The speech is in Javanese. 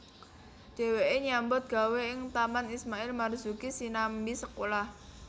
Dheweke nyambut gawé ing Taman Ismail Marzuki sinambi sekolah